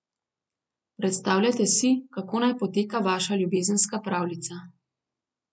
Predstavljajte si, kako naj poteka vaša ljubezenska pravljica.